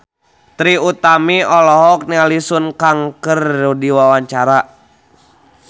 Trie Utami olohok ningali Sun Kang keur diwawancara